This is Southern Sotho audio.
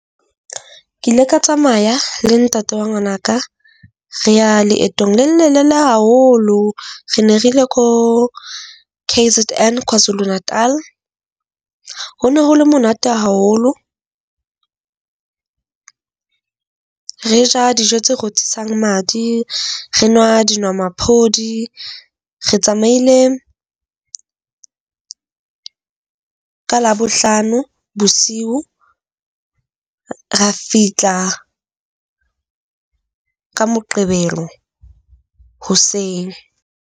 Ke ile ka tsamaya le ntate wa ngwana ka re ya leetong le lelelele haholo. Re ne re ile ko K_Z_N, KwaZulu-Natal. Ho no ho le monate haholo, Re ja dijo tse rothisang madi. Re nwa dinomaphodi, re tsamaile ka Labohlano bosiu, ra fihla ka Moqebelo hoseng.